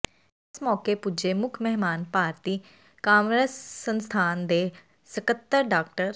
ਇਸ ਮੌਕੇ ਪੁੱਜੇ ਮੁੱਖ ਮਹਿਮਾਨ ਭਾਰਤੀ ਕਾਮਰਸ ਸੰਸਥਾਨ ਦੇ ਸਕੱਤਰ ਡਾ